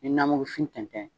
Ni namugufin tɛntɛn